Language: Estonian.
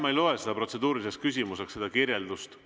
Ma ei loe seda protseduuriliseks küsimuseks, seda kirjeldust.